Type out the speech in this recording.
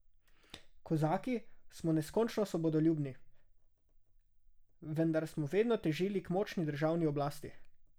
Kozaki smo neskončno svobodoljubni, vendar smo vedno težili k močni državni oblasti.